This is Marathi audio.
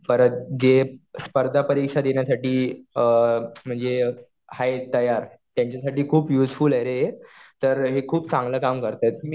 परत जे स्पर्धा परीक्षा देण्यासाठी म्हणजे आहेत तयार, त्यांच्यासाठी खूप युजफूल आहे रे हे. तर हे खूप चांगलं काम करतात.